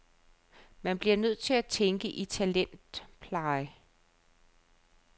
Man bliver nødt til at tænke i talentpleje.